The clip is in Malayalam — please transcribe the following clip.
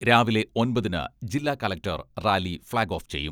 രാവിലെ ഒൻപതിന് ജില്ലാ കലക്ടർ റാലി ഫ്ളാഗ് ഓഫ് ചെയ്യും.